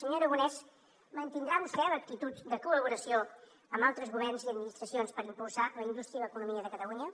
senyor aragonès mantindrà vostè l’actitud de col·laboració amb altres governs i administracions per impulsar la indústria i l’economia de catalunya